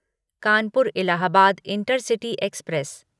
Kanpur Allahabad intercity express